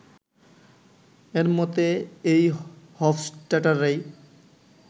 এর মতে এই হফস্টাটারই